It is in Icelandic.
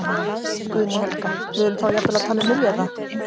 Guðný Helga: Við erum þá jafnvel að tala um milljarða?